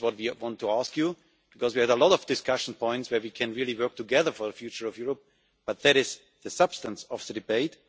That is what we want to ask you, because we have a lot of discussion points where can really work together for the future of Europe, but that is the substance of the debate.